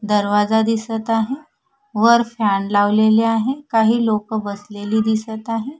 दरवाजा दिसत आहे वर फॅन लावलेले आहे काही लोकं बसलेली दिसत आहे.